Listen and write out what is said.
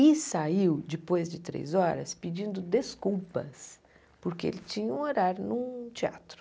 E saiu, depois de três horas, pedindo desculpas, porque ele tinha um horário num teatro.